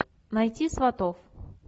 найти сватов